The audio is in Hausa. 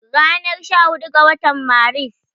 Ranar sha hudu ga watan Maris